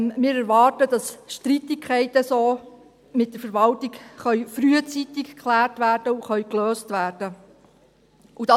Wir erwarten, dass Streitigkeiten mit der Verwaltung so frühzeitig geklärt und gelöst werden können.